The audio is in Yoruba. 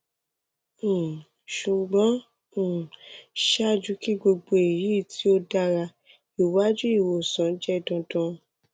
um ṣugbọn um ṣaaju ki gbogbo eyi ti o dara iwadi iwosan jẹ dandan